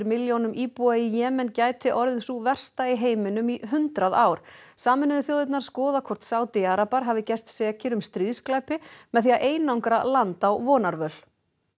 milljónum íbúa í Jemen gæti orðið sú versta í heiminum í hundrað ár sameinuðu þjóðirnar skoða hvort Sádi arabar hafi gerst sekir um stríðsglæpi með því að einangra land á vonarvöl